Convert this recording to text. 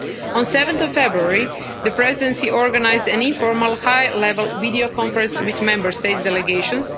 On 7 February, the Presidency organised an informal, high level video conference with Member States' delegations.